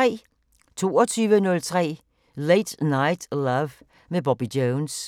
22:03: Late Night Love med Bobby Jones